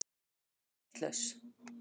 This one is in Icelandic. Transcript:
Er ég vitlaus!